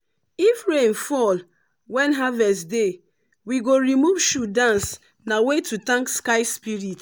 if rain fall when harvest deywe go remove shoe dance na way to thank sky spirit.